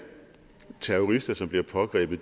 terrorister som bliver pågrebet